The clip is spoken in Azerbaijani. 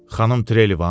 Xanım Trelivan?